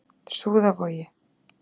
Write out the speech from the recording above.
Súðarvogi